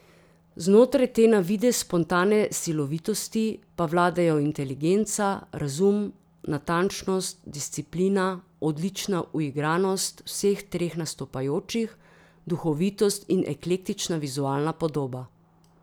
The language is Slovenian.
Znotraj te na videz spontane silovitosti pa vladajo inteligenca, razum, natančnost, disciplina, odlična uigranost vseh treh nastopajočih, duhovitost in eklektična vizualna podoba.